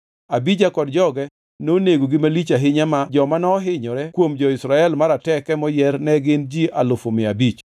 Abija kod joge nonegogi malich ahinya ma joma nohinyore kuom jo-Israel marateke moyier ne gin ji alufu mia abich.